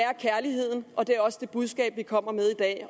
er kærligheden og det er også det budskab vi kommer med i dag